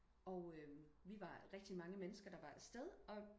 og øhm vi var rigtig mange mennesker der var afsted og